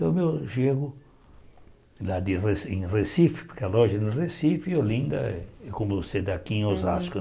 Então eu chego lá de reci em Recife, porque a loja é em Recife, e Olinda é como Sedaquim, Osasco.